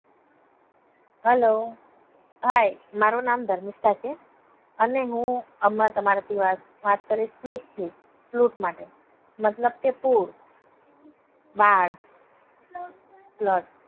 hello hi મારુ નામ ધર્મિષ્તા છે. અને હું હમના તમારા થી વાત કરીશ ફ્લૂટ ફ્લૂટ માટે મતલબ કે પૂર બાડ flood.